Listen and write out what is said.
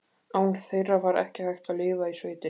Án þeirra var ekki hægt að lifa í sveitinni.